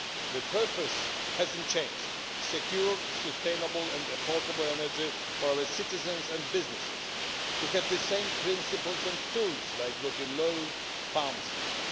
The purpose has not changed secure, sustainable and affordable energy for our citizens and businesses. We have the same principles and tools, like European law and funding.